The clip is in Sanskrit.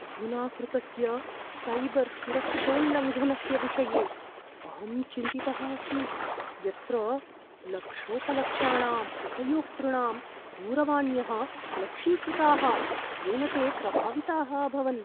अधुना कृतस्य सैबर् सुरक्षोल्लङ्घनस्य विषये अहं चिन्तितः अस्मि, यत्र लक्षोपलक्षाणाम् उपयोक्तॄणां दूरवाण्यः लक्षीकृताः येन ते प्रभाविताः अभवन्।